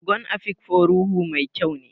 Ogon Afikpo ruhu mai kyau ne.